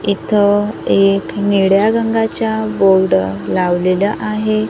इथं एक निळ्या रंगाच्या बोर्ड लावलेला आहे.